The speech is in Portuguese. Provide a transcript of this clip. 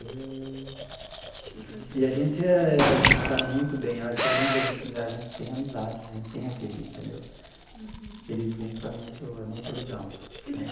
E a gente eh a gente se dá muito bem, que além da gente da gente tem amizade assim, tem aquele entendeu aquele vínculo é muito é muito legal.